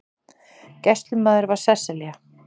Gæslumaður var Sesselja